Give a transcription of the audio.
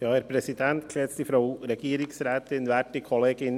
Kommissionspräsident der FiKo.